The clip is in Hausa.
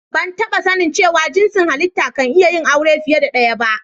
Ban taba sani cewa jinsin hallita kan iya yin aure fiyar da daya ba.